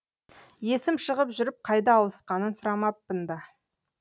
есім шығып жүріп қайда ауысқанын сұрамаппын да